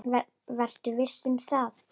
Vertu viss um það.